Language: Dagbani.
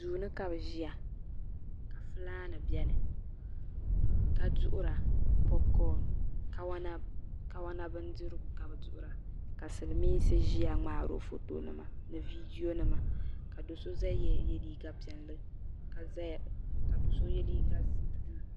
Duuni ka bɛ ʒia ka filaani biɛni ka duɣura kawana bindirigu ka bɛ duɣura ka silimiinsi ʒia ŋmaari ba foto nima no viidiyo nima ka do'so ʒɛya n ye liiga piɛlli ka do'so ye liiga buluu.